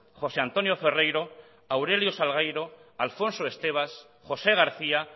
josé antonio ferreiro aurelio salgueiro alfonso estevas josé garcía